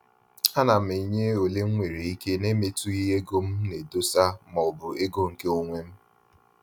A na m enye ole mwere ike na-emetughi ego m na edosa ma ọ bụ ego nke onwem